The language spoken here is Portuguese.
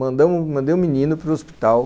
Então, mandei o menino para o hospital...